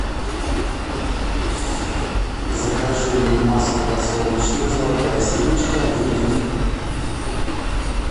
закажи мне масло подсолнечное золотая семечка один литр